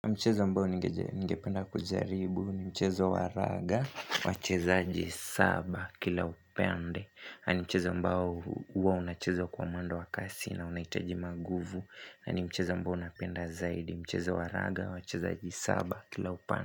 Mchezo ambao ningependa kujaribu ni mchezo wa raga, wachezaji saba kila upende na ni mchezo mbao huwa unachezwa kwa mwendo wa kasi na unahitaji manguvu, yaani mchezo mbao unapenda zaidi mchezo waraga wacheza aji saba kila upende.